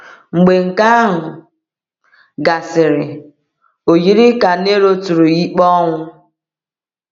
Mgbe nke ahụ gasịrị, o yiri ka Nero tụrụ ya ikpe ọnwụ.